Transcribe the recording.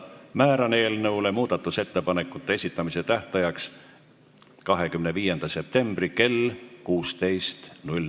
Määran eelnõu muudatusettepanekute esitamise tähtajaks 25. septembri kell 16.